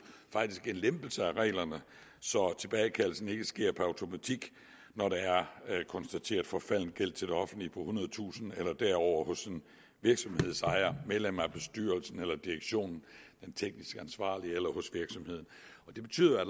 faktisk en lempelse af reglerne så tilbagekaldelsen ikke sker per automatik når der er konstateret forfalden gæld til det offentlige på ethundredetusind kroner eller derover hos en virksomhedsejer medlemmer af bestyrelsen eller direktionen den teknisk ansvarlige eller hos virksomheden det betyder